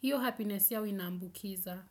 Hiyo happiness yao ina ambukiza.